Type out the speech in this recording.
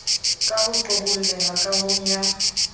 ka ho qoholleha kahong ya